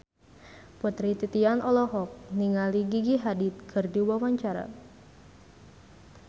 Putri Titian olohok ningali Gigi Hadid keur diwawancara